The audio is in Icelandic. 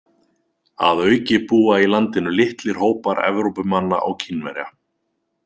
Að auki búa í landinu litlir hópar Evrópumanna og Kínverja.